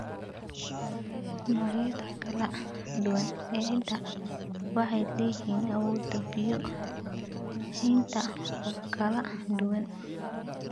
Noocyada kala duwan ee ciidda waxay leeyihiin awood biyo haynta oo kala duwan.